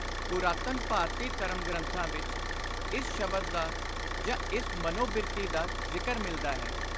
ਪੁਰਾਤਨ ਭਾਰਤੀ ਧਰਮ ਗ੍ਰੰਥਾਂ ਵਿਚ ਇਸ ਸ਼ਬਦ ਦਾ ਜਾਂ ਇਸ ਮਨੋ-ਬਿਰਤੀ ਦਾ ਜ਼ਿਕਰ ਮਿਲਦਾ ਹੈ।